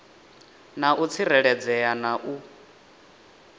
na u tsireledzea na u